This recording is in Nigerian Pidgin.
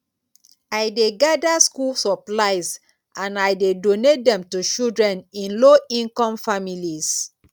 i dey gather school supplies and i dey donate dem to children in lowincome families